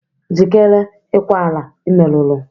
Jikere ikwa ala i meruru!